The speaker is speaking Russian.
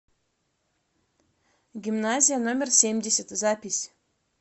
гимназия номер семьдесят запись